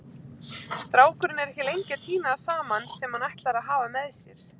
Strákurinn er ekki lengi að tína það saman sem hann ætlar að hafa með sér.